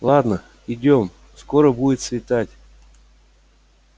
ладно идём скоро будет светать